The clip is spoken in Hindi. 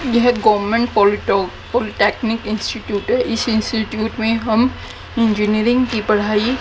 यह गवर्नमेंट पॉलिटो पॉलिटेक्निक इंस्टिट्यूट है इस इंस्टिट्यूट में हम इंजीनियरिंग की पढ़ाई--